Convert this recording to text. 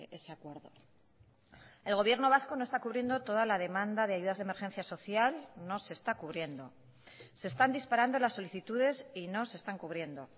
ese acuerdo el gobierno vasco no está cubriendo toda la demanda de ayudas de emergencia social no se está cubriendo se están disparando las solicitudes y no se están cubriendo